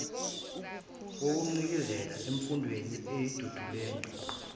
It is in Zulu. wokugcizelela emfundweni edidiyelwe